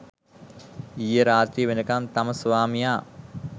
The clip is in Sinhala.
ඊයේ රාත්‍රිය වෙනකම් තම ස්වාමියා